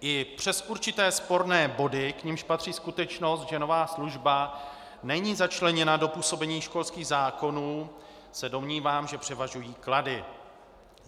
I přes určité sporné body, k nimž patří skutečnost, že nová služba není začleněna do působení školských zákonů, se domnívám, že převažují klady.